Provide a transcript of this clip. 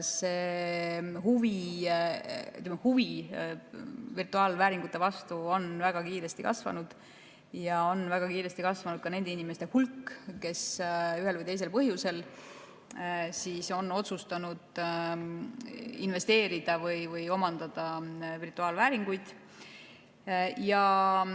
Huvi virtuaalvääringute vastu on väga kiiresti kasvanud ja väga kiiresti on kasvanud nende inimeste hulk, kes ühel või teisel põhjusel on otsustanud investeerida virtuaalvääringutesse või neid omandada.